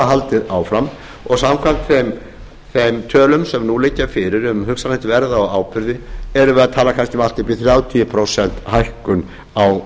haldið áfram og samkvæmt þeim tölum sem nú liggja fyrir um hugsanlegt verð á áburði erum við að tala kannski um allt upp í þrjátíu prósent hækkun á